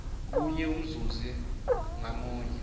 kunye umzuzi ngamunye